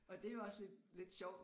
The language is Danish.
Og det jo også lidt lidt sjovt